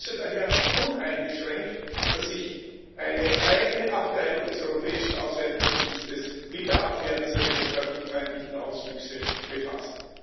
Ich begrüße daher uneingeschränkt, dass sich eine eigene Abteilung des Europäischen Auswärtigen Dienstes mit der Abwehr dieser demokratiefeindlichen Auswüchse befasst.